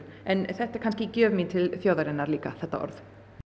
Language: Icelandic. þetta er kannski gjöf mín til þjóðarinnar þetta orð